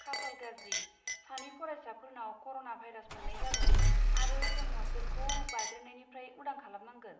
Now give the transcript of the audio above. खाफाल गाज्रि, सानै फरायसाफोरनाव कर'ना भाइरास मोन्नाय जादों, आरो जों हस्टेलखौ बारदेरनायनिफ्राय उदां खालामनांगोन।